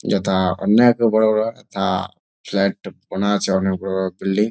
যেটা অনেক বড় বড় যথা ফ্লাট করা আছে অনেক বড় বড় বিল্ডিং ।